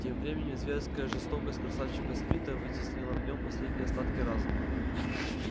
тем временем зверская жестокость красавчика смита вытеснила в нём последние остатки разума